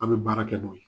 An bɛ baara kɛ n'o ye